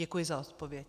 Děkuji za odpověď.